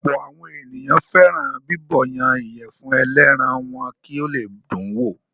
Ọ̀pọ̀ àwọn ènìyàn fẹ́ràn bíbọ̀yan ìyẹ̀fun ẹlẹ́ran wọn kì ó le dùn wò.